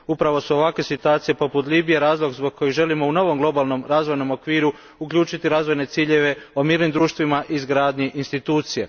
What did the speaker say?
Upravo su ovakve situacije poput Libije razlog zbog kojeg želimo u novom Globalnom razvojnom okviru uključiti razvojne ciljeve o mirnim društvima i izgradnji institucija.